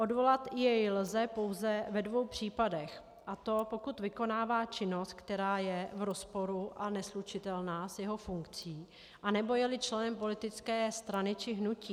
Odvolat jej lze pouze ve dvou případech, a to pokud vykonává činnost, která je v rozporu a neslučitelná s jeho funkcí, anebo je-li členem politické strany či hnutí.